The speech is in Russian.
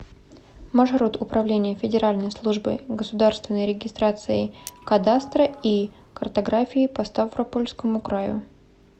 маршрут управление федеральной службы государственной регистрации кадастра и картографии по ставропольскому краю